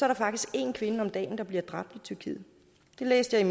der faktisk en kvinde om dagen der bliver dræbt i tyrkiet det læste jeg